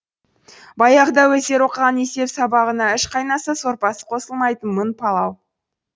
баяғыда өздері оқыған есеп сабағына үш қайнаса сорпасы қосылмайтын мың палау